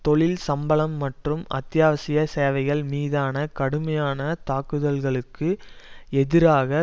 தொழில் சம்பளம் மற்றும் அத்தியாவசிய சேவைகள் மீதான கடுமையான தாக்குதல்களுக்கு எதிராக